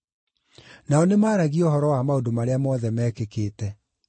Nao nĩmaragia ũhoro wa maũndũ marĩa mothe meekĩkĩte.